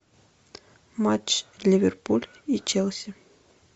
матч ливерпуль и челси